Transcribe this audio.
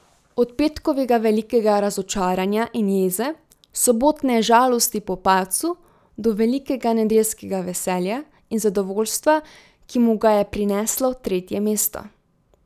Od petkovega velikega razočaranja in jeze, sobotne žalosti po padcu, do velikega nedeljskega veselja in zadovoljstva, ki mu ga je prineslo tretje mesto.